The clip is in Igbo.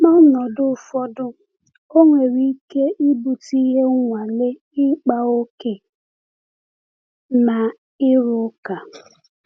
N’ọnọdụ ụfọdụ, ọ nwere ike ibute ihe nwale-ịkpa ókè na ịrụ ụka.